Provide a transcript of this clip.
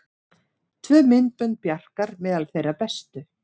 Tvö myndbönd Bjarkar meðal þeirra bestu